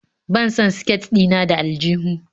Ban san siket ɗina na da aljuhu.